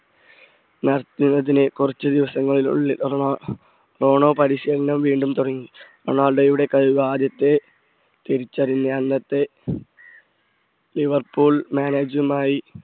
ജീവിതത്തിലെ കുറച്ചു ദിവസങ്ങൾക്കുള്ളിൽ റോണോ പരിശീലനം വീണ്ടും തുടങ്ങി റൊണാൾഡോയുടെ കഴിവ് ആദ്യത്തെ തിരിച്ചറിഞ്ഞ അന്നത്തെ ലിവർപൂൾ manage മായി